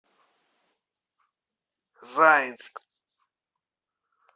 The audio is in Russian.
заинск